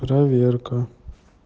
проверка